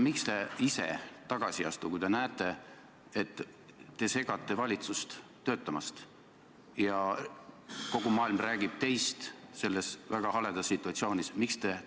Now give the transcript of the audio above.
Miks te ise tagasi ei astu, kui te näete, et te segate valitsust töötamast ja kogu maailm räägib teist selles väga haledas situatsioonis?